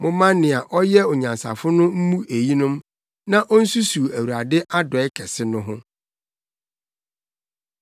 Momma nea ɔyɛ onyansafo no mmu eyinom, na onsusuw Awurade adɔe kɛse no ho.